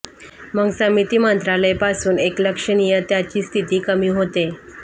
मग समिती मंत्रालय पासून एक लक्षणीय त्याच्या स्थिती कमी होते